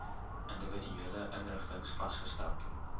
individuele inrigtings vasgestel